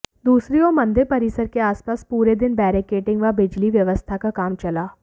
दूसरी ओर मंदिर परिसर के आसपास पूरे दिन बैरिकेडिंग व बिजली व्यवस्था का काम चला